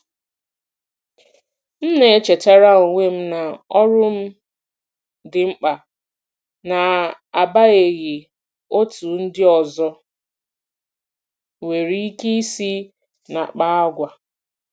M na-echetara onwe m na ọrụ m dị mkpa, n'agbanyeghị otú ndị ọzọ nwere ike isi na-akpa àgwà.